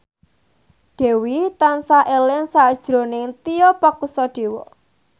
Dewi tansah eling sakjroning Tio Pakusadewo